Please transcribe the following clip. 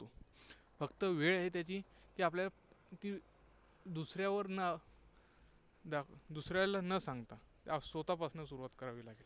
फक्त वेळ आहे त्याची की आपल्याला की दुसऱ्यावर न दुसऱ्याला न सांगता स्वतःपासून सुरुवात करावी लागेल.